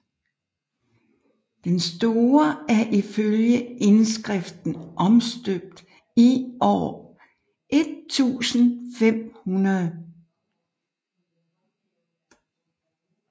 Den store er ifølge indskriften omstøbt år 1500